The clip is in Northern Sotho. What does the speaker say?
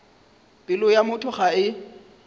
pelo ya motho ga e